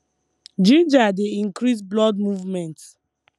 ginger dey increase blood movement